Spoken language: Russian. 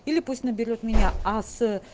или пусть наберёт меня а с